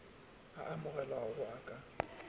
a amogelegago ao o ka